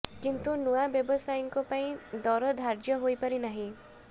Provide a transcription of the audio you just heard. କିନ୍ତୁ ନୂଆ ବ୍ୟବସାୟୀଙ୍କ ପାଇଁ ଦର ଧାର୍ୟ୍ୟ ହେଇପାରି ନାହିଁ